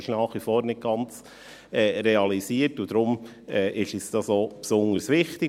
Es ist nach wie vor nicht ganz realisiert, und daher ist uns dies auch besonders wichtig.